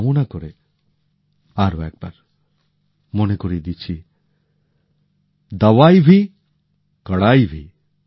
এই কামনা করে আরো একবার মনে করিয়ে দিচ্ছি দাবাই ভি কড়াই ভি